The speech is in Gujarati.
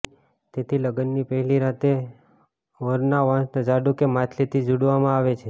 તેથી લગ્નની પહેલી રાતે વરના પગને વાંસના ઝાડુ કે માછલીથી ઝૂડવામાં આવે છે